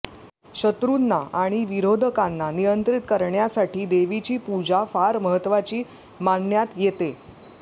शत्रुंना आणि विरोधकांना नियंत्रित करण्यासाठी देवीची पूजा फार महत्वाची मानण्यात येते